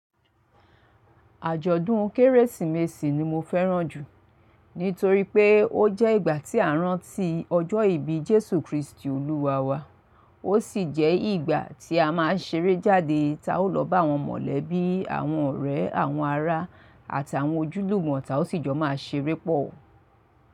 Àjọ̀dún Kérésìmesì ni mo fẹ́ràn jù. Nítorí pé ó jẹ́ ìgbà tí à rán tí ọjọ́ ìbí Jésù Kristi olúwa wa. Ó sì jẹ́ ìgbà, tí a máa ń ṣeré jáde, táa ó lọ bá àwọn mọ̀lẹ́bí, àwọn ọ̀rẹ́, àwọn ará, àtàwọn ojúlùgbọ̀ táa ó sì jọ máa ṣeré pọ̀.